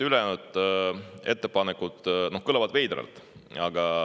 Ülejäänud ettepanekud kõlavad veidralt.